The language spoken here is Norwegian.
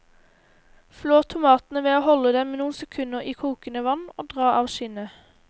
Flå tomatene ved å holde dem noen sekunder i kokende vann og dra av skinnet.